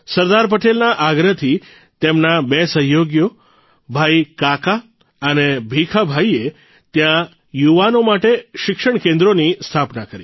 સરદાર પટેલના આગ્રહથી તેમના બે સહયોગીઓ ભાઇ કાક અને ભીખા ભાઇએ ત્યાં યુવાનો માટે શિક્ષણકેન્દ્રોની સ્થાપના કરી